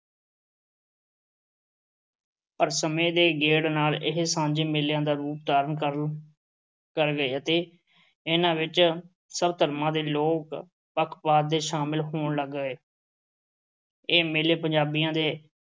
ਪਰ ਸਮੇਂ ਦੇ ਗੇੜ ਨਾਲ ਇਹ ਸਾਂਝੇ ਮੇਲਿਆਂ ਦਾ ਰੂਪ ਧਾਰਨ ਕਰ ਅਹ ਕਰ ਗਏ ਅਤੇ ਇਨ੍ਹਾਂ ਵਿੱਚ ਸਭ ਧਰਮਾਂ ਦੇ ਲੋਕ ਬਗੈਰ ਕਿਸੇ ਪੱਖਪਾਤ ਦੇ ਸ਼ਾਮਲ ਹੋਣ ਲੱਗ ਪਏ। ਇਹ ਮੇਲੇ ਪੰਜਾਬੀਆਂ ਦੇ